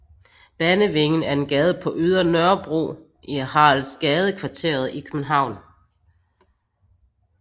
Banevingen er en gade på Ydre Nørrebro i Haraldsgadekvarteret i København